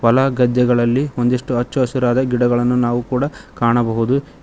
ಹೊಲಗದ್ದೆಗಳಲ್ಲಿ ಒಂದಿಷ್ಟು ಅಚ್ಚ ಹಸಿರಾದ ಗಿಡಗಳನ್ನು ನಾವು ಕೂಡ ಕಾಣಬಹುದು.